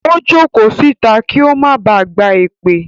Ó jókòó síta kí ó máa ba à gba èpè.